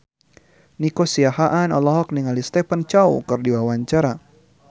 Nico Siahaan olohok ningali Stephen Chow keur diwawancara